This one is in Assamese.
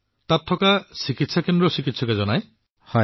প্ৰধানমন্ত্ৰীঃ তাত থকা কল্যাণ কেন্দ্ৰৰ চিকিৎসকে জনায়